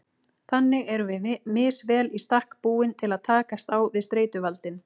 Þannig erum við misvel í stakk búin til að takast á við streituvaldinn.